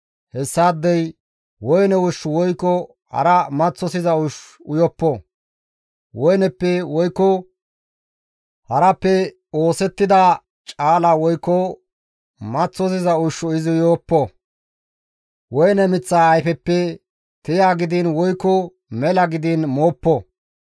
hessaadey woyne ushshu woykko hara maththosiza ushshu uyoppo; woyneppe woykko harappe oosettida caala woykko maththosiza ushshu izi uyoppo; woyne miththa ayfeppe tiya gidiin woykko mela gidiin mooppo.